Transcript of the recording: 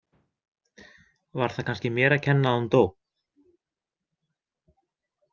Var það kannski mér að kenna að hún dó?